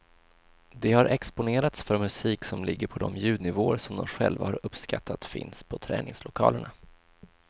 De har exponerats för musik som ligger på de ljudnivåer som de själva har uppskattat finns på träningslokalerna.